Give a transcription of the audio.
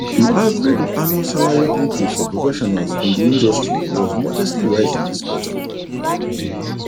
the average annual salary increase for professionals in the industry was modestly rising this quarter